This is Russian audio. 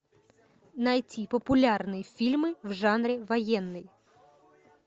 найти популярные фильмы в жанре военный